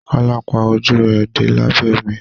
Kola pá ojú rẹ dé labẹ omi.